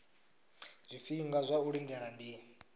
zwifhinga zwa u lindela ndi